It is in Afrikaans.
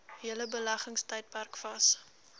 hele beleggingstydperk vas